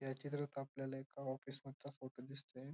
या चित्रात आपल्याला एका ऑफिस चा फोटो दिसतोय.